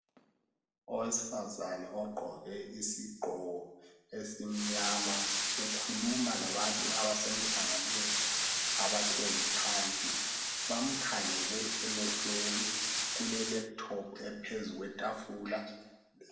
owesifazana ogqoke isigqoko esimnyama ukhuluma labantu abasemhlanganweni abahlezi phansi bamkhangele emehlweni kule laptop ephezu kwetafula